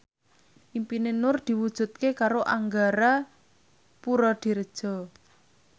impine Nur diwujudke karo Angga Puradiredja